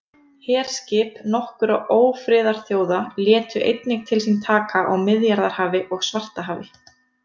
Herskip nokkurra ófriðarþjóða létu einnig til sín taka á Miðjarðarhafi og Svartahafi.